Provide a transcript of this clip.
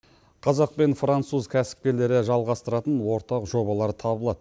қазақ пен француз кәсіпкерлері жалғастыратын ортақ жобалар табылады